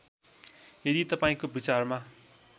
यदि तपाईँको विचारमा